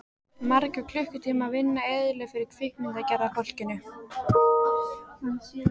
Margra klukkutíma vinna eyðilögð fyrir kvikmyndagerðarfólkinu.